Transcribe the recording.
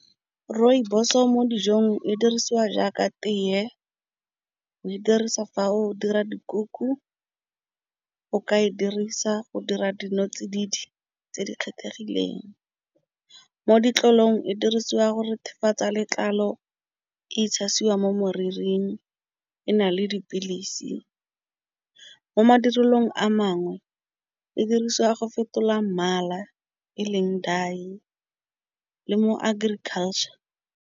Rooibos-o mo dijong e dirisiwa jaaka tee go e dirisa fa o dira dikuku. O ka e dirisa go dira dinotsididi tse di kgethegileng mo ditlolong e dirisiwa go rethefatsa letlalo itshasiwa mo moriring e na le dipilisi. Mo madirelong a mangwe e dirisiwa go fetola mmala e leng daiye le mo agriculture.